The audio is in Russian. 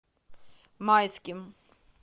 майским